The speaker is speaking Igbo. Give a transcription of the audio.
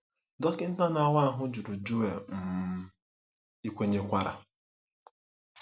Dọkịta na-awa ahụ jụrụ Joel um, “Ị kwenyekwara ?”